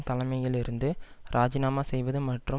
தலைமையிலிருந்து இராஜினாமா செய்வது மற்றும்